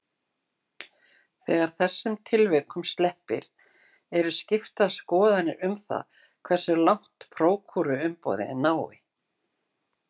Þegar þessum tilvikum sleppir eru skiptar skoðanir um það hversu langt prókúruumboð nái.